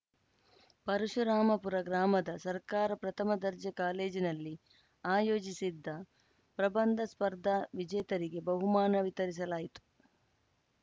ಪರಶುರಾಮಪುರ ಗ್ರಾಮದ ಸರ್ಕಾರ ಪ್ರಥಮ ದರ್ಜೆ ಕಾಲೇಜಿನಲ್ಲಿ ಆಯೋಜಿಸಿದ್ದ ಪ್ರಬಂಧ ಸ್ಪರ್ಧಾವಿಜೇತರಿಗೆ ಬಹುಮಾನ ವಿತರಿಸಲಾಯಿತು